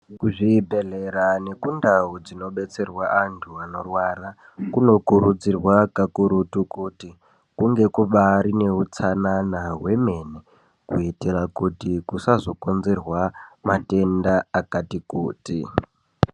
Kuzvibhedhlera nekundau dzinobetserwa anthu anorwara, kunokurudzirwa kakurutu kuti kunge kubaari nehutsanana hwemene, kuitira kuti kusazokonzerwa matenda akati kuti.